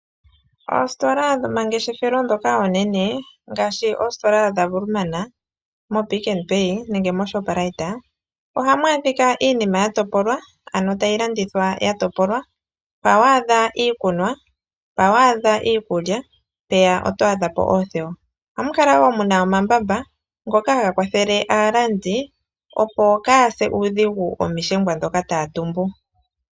Oositola dhoma ngeshefelo dhoka oonene ngaashi oositola dha Woermana, mo PicknPay nenge mo Shoprite ohamu adhika iinima ya topolwa ano tayi landithwa ya topolwa. Mpa wa adha iikunwa, mpa wa adha iikulya, mpeya oto adha po oothewa. Ohamu kala wo muna omambamba ngoka haga kwathele aalandi opo kaya se uudhingu omishengwa dhoka taya tumbu.